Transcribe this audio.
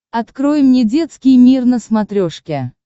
открой мне детский мир на смотрешке